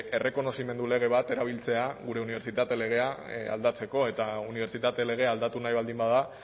errekonozimendu lege bat erabiltzea gure unibertsitate legea aldatzeko eta unibertsitate legea aldatu nahi baldin bada